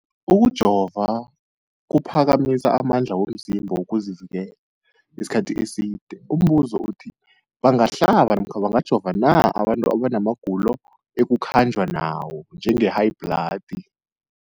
Ukujova kuphakamisa amandla womzimbakho wokuzivikela isikhathi eside. Umbuzo, bangahlaba namkha bangajova na abantu abana magulo ekukhanjwa nawo, njengehayibhladi?